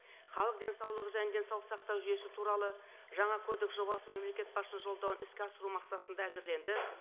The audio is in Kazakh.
халық денсаулығы және денсаулық сақтау жүйесі туралы жаңа кодекс жобасы мемлекет басшысының жолдауын іске асыру мақсатында әзірленді